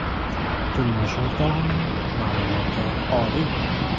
Turmush o‘rtog‘imning ma’lumoti oliy.